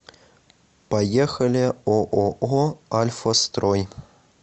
поехали ооо альфастрой